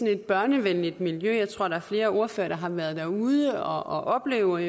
et børnevenligt miljø og jeg tror der er flere ordførere der har været derude og opleve